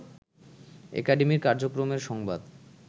একাডেমির কার্যক্রমের সংবাদ